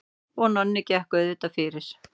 Og Nonni gekk auðvitað fyrir.